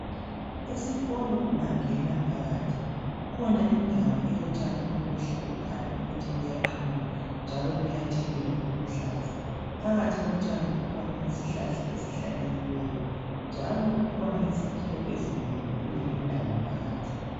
Esikolo ungangena phakathi kukhona indawo elotshani obuhle obukhanya ukuthi buyaqunywa njalo buyathelelwa buluhlaza. Phakathi kotshani kukhona isihlala esihlanyelweyo njalo kukhona izakhiwo ezinengi kulindawo phakathi